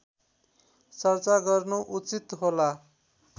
चर्चा गर्नु उचित होला